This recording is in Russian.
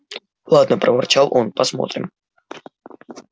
ладно проворчал он посмотрим